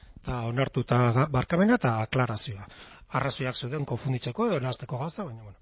eta onartuta barkamena eta aklarazioa arrazoiak zeuden konfunditzeko edo nahasteko gauzak baina bueno